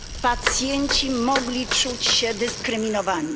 Pacjenci mogli czuć się dyskryminowani.